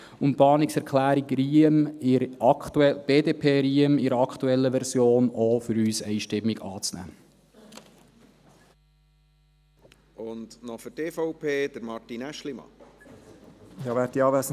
Und die Planungserklärung BDP/Riem in der aktuellen Version ist für uns auch einstimmig anzunehmen.